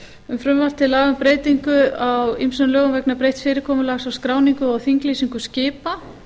um frumvarp til laga um breytingu á ýmsum lögum vegna breytts fyrirkomulags á skráningu og þinglýsingu skipa